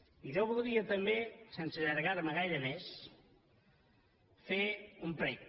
i jo voldria també sense allargar me gaire més fer un prec